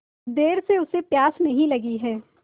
देर से उसे प्यास नहीं लगी हैं